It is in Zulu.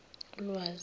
ulwazi